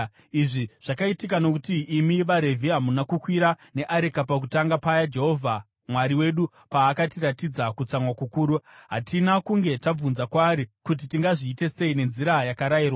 Izvi zvakaitika nokuti imi vaRevhi hamuna kukwira neareka pakutanga paya Jehovha Mwari wedu paakatiratidza kutsamwa kukuru. Hatina kunge tabvunza kwaari kuti tingazviite sei nenzira yakarayirwa.”